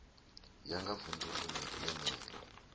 ya nga vunḓu ḽene ḽo